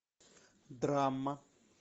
драма